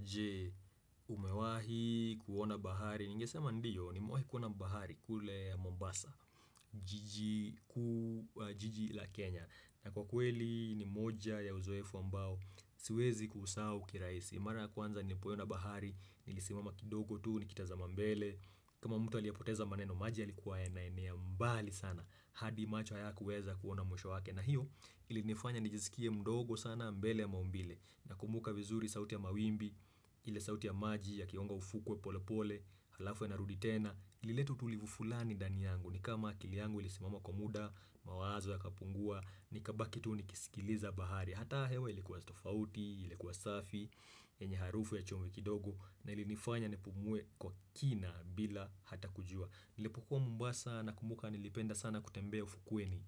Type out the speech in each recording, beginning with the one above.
Je, umewahi kuona bahari Ningesema ndiyo, nimewahi kuona bahari kule Mombasa jiji la Kenya na kwa kweli ni moja ya uzoefu ambao Siwezi kusahau kiraisi Mara kwanza nilipoenda bahari Nilisimama kidogo tuu, nikitazama mbele kama mtu aliopoteza maneno, maji yalikuwa yanaenea mbali sana, hadi macho hayakuweza kuona mwisho wake na hiyo, ili nifanya nijisikie mdogo sana, mbele ya maumbile Nakumbuka vizuri sauti ya mawimbi, ile sauti ya maji yakiomo ufukuwe pole pole, halafu inarudi tena Ilileta utulivu fulani ndani yangu ni kama akili yangu ilisimama kwa muda, mawazo yakapungua, nikabaki tu nikisikiliza bahari Hata hewa ilikuwa tofauti, ilikuwa safi, enye harufu ya chumwe kidogo na ili nifanya nipumuwe kwa kina bila hata kujua Nilipokuwa mombasa na kumbuka nilipenda sana kutembea ufukuweni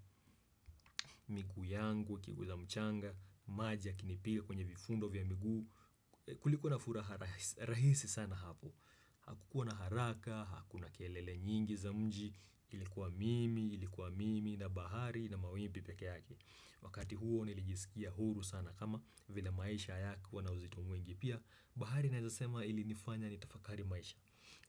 migu yangu, ikiguza mchanga, maji yakinipiga kwenye vifundo vya miguu Kulikuwa na furaha rahisi sana hapo Hakukua na haraka, hakuna kelele nyingi za mji, ilikuwa mimi, ilikuwa mimi na bahari na mawimbi pekee yake Wakati huo nilijisikia huru sana kama vila maisha hayakuwa na uzito mwingi pia bahari naeza sema ilinifanya ni tafakari maisha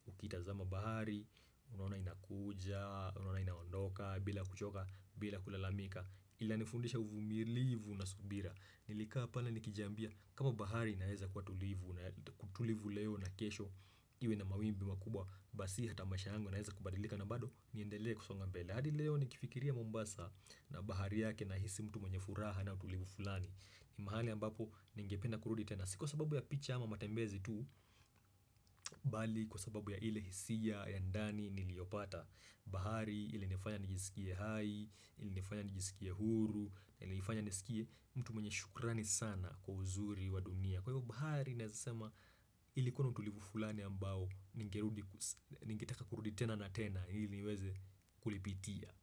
ukitazama bahari, unaona inakuja, unaona inaondoka, bila kuchoka, bila kulalamika inanifundisha uvumilivu na subira Nilikaa pale nikijambia kama bahari naeza kutulivu leo na kesho Iwe na mawimbi makubwa, basi hata maisha yangu yanaeza kubadilika na bado niendele kusonga mbele hadi leo nikifikiria Mombasa na bahari yake nahisi mtu mwenye furaha na utulivu fulani ni mahali ambapo ningependa kurudi tena si kwasababu ya picha ama matembezi tu, bali kwa sababu ya ile hisia ya ndani niliopata bahari, ilinifanya nijisikie hai, ilinifanya nijisikie huru, ilinifanya nijisikie mtu mwenye shukrani sana kwa uzuri wa dunia. Kwa hivyo bahari, naeza sema ilikuwa na utulivu fulani ambao ningeteka kurudi tena na tena, ili neweze kulipitia.